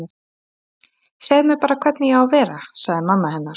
Segðu mér bara hvernig ég á að vera- sagði mamma hennar.